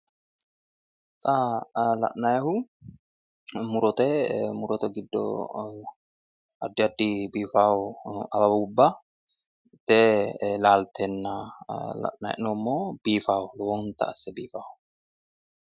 Xa la'nayihu murote. Murote giddo addi addi biiffawo awawubba laalteenna la'nayi hee'noommo. Biifawo lowonta asse biifawo